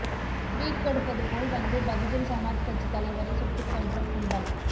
sweet கொடுப்பதுபோல் வந்து பகுஜன் சமாஜ் கட்சி தலைவரை சுட்டுக் கொன்ற கும்பல்